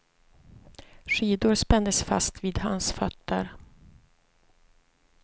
Skidor spändes fast vid hans fötter.